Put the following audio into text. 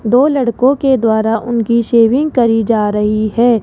दो लड़कों के द्वारा उनकी शेविंग करी जा रही है।